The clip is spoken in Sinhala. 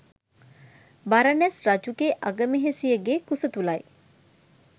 බරණැස් රජුගේ අගමෙහෙසියගේ කුස තුළයි.